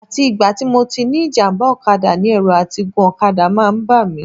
Àti ìgbà tí mo ti ní ìjàmbá ọ̀kadà ni ẹ̀rù àti gun ọ̀kadà ti máa ń bà mí